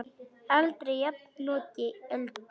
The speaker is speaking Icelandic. Aldrei jafnoki Öldu.